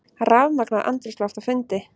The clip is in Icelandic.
Rafmagnað andrúmsloft á fundi